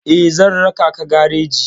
Eh, zan raka ka gareji.